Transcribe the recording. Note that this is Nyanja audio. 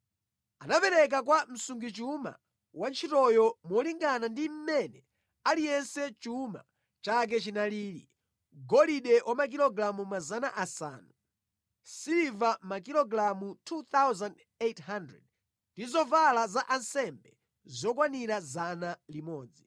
Anapereka kwa msungichuma wa ntchitoyo molingana ndi mmene aliyense chuma chake chinalili: golide wa makilogalamu 500, siliva makilogalamu 2,800 ndi zovala za ansembe zokwanira 100.